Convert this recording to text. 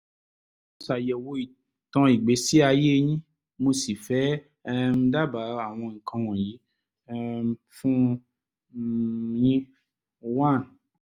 mo ṣàyẹ̀wò ìtàn ìgbésí ayé yín mo sì fẹ́ um dábàá àwọn nǹkan wọ̀nyí um fún um yín: 1